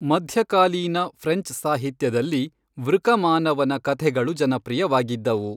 ಮಧ್ಯಕಾಲೀನ ಫ್ರೆಂಚ್ ಸಾಹಿತ್ಯದಲ್ಲಿ ವೃಕಮಾನವನ ಕಥೆಗಳು ಜನಪ್ರಿಯವಾಗಿದ್ದವು.